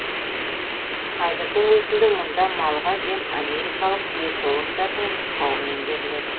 қазірдің өзінде мұнда малға жем америкалық диетологтардың нұсқауымен беріледі